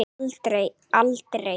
Aldrei, aldrei.